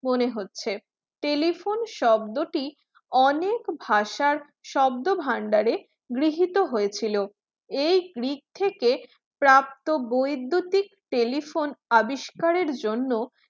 মনে হচ্ছে telephone শব্দটি অনেক ভাষার শব্দভাণ্ডারে গৃহীত হয়েছিল এই থেকে প্রাপ্ত বৈদ্যুতিক telephone আবিষ্কারের জন্য